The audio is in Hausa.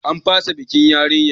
An fasa bikin yarinyar.